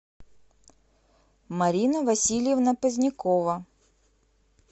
марина васильевна позднякова